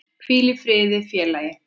Hvíl í friði félagi.